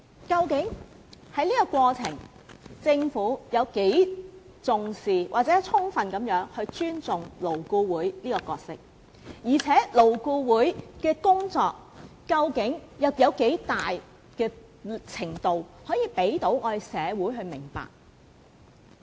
究竟政府有多重視或有否充分尊重勞顧會這個角色，而勞顧會的工作究竟有多大程度可讓社會了解？